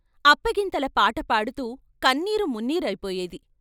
అప్ప గింతల పాటపాడుతూ కన్నీరు మున్నీరై పోయేది.